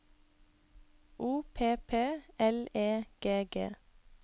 O P P L E G G